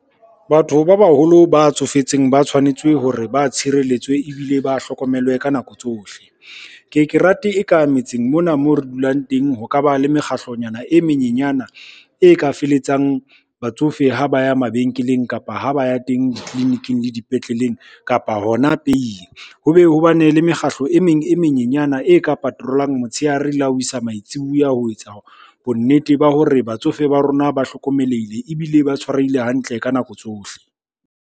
Batho ba baholo ba tsofetseng ba tshwanetse hore ba tshireletswe, ebile ba hlokomelwe ka nako tsohle. Ke ye ke rate e ka metseng mona mo re dulang teng ho ka ba le mekgatlonyana e menyenyana e ka feletsang batsofe ha ba ya mabenkeleng, kapa ha ba ya teng ditleliniking le dipetleleng, kapa hona peying. Ho be ho bane le mekgahlo e meng e menyenyana e ka patrol-ang motshehare la ho isa maitsibuya ho etsa bonnete ba hore batsofe ba rona ba hlokomelehile, ebile ba tshwarehile hantle ka nako tsohle.